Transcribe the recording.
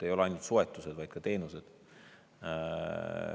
Ei ole ainult soetused, vaid ka teenused.